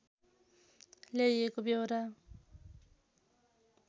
ल्याइएको व्यहोरा